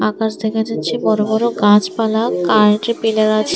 আকাশ দেখা যাচ্ছে বড়ো বড়ো গাছপালা কারেন্টের পিলার আছে।